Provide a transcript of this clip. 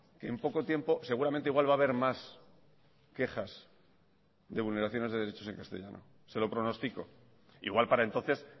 que en poco tiempo seguramente igual va a haber más quejas de vulneraciones de derechos en castellano se lo pronostico igual para entonces